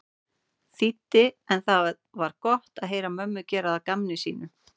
þýddi en það var gott að heyra mömmu gera að gamni sínu.